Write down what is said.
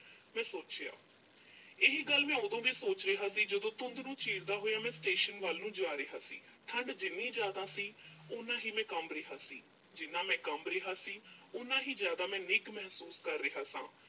ਮੈਂ ਸੋਚਿਆ ਇਹ ਗੱਲ ਮੈਂ ਉਦੋਂ ਵੀ ਸੋਚ ਰਿਹਾ ਸੀ ਜਦੋਂ ਧੁੰਦ ਨੂੰ ਚੀਰਦਾ ਹੋਇਆ ਮੈਂ station ਵੱਲ ਨੂੰ ਜਾ ਰਿਹਾ ਸੀ। ਠੰਡ ਜਿੰਨੀ ਜ਼ਿਆਦਾ ਸੀ, ਉਨ੍ਹਾਂ ਹੀ ਮੈਂ ਕੰਬ ਰਿਹਾ ਸੀ। ਜਿੰਨਾਂ ਮੈਂ ਕੰਬ ਰਿਹਾ ਸੀ, ਓਨਾ ਹੀ ਜ਼ਿਆਦਾ ਮੈਂ ਨਿੱਘ ਮਹਿਸੂਸ ਕਰ ਰਿਹਾ ਸਾਂ।